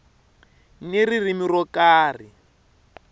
ni ririmi ro ka ri